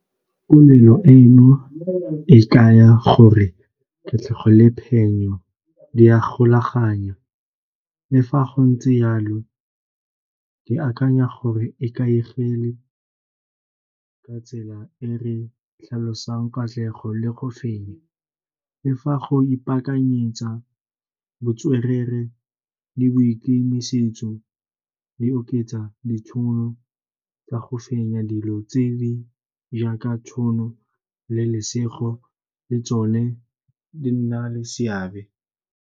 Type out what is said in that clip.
Tumelo eno e kaya gore katlego le phenyo di a golaganya, le fa go ntse yalo ke akanya gore e ikaegile ka tsela e re tlhalosang katlego le go fenya. Le fa go ipakanyetsa botswerere le boikemisetso di oketsa ditšhono tsa go fenya dilo tse di jaaka tšhono le lesego le tsone di nna le seabe.